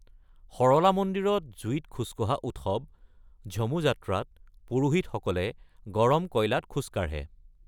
সৰলা মন্দিৰত জুইত খোজ কঢ়া উৎসৱ ঝমু যাত্ৰাত পুৰোহিতসকলে গৰম কয়লাত খোজ কাঢ়ে।